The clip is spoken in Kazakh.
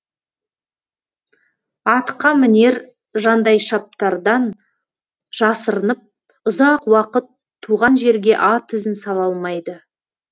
атқамінер жандайшаптардан жасырынып ұзақ уақыт туған жерге ат ізін сала алмайды